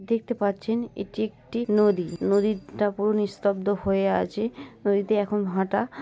দেখতে পাচ্ছেন এটি একটি নদী নদীরটা পুরো নিস্তব্ধ হয়ে আছে নদীতে এখন ভাটা ।